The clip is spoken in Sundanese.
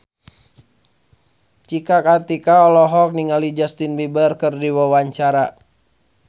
Cika Kartika olohok ningali Justin Beiber keur diwawancara